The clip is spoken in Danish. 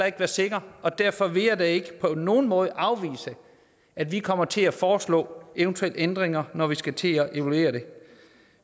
ikke være sikker og derfor vil jeg da ikke på nogen måde afvise at vi kommer til at foreslå eventuelle ændringer når vi skal til at evaluere det